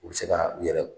U bɛ se ka u yɛrɛ